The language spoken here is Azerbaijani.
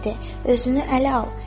"Özünü ələ al!